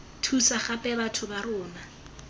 thusa gape batho ba rona